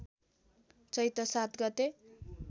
चैत्र ७ गते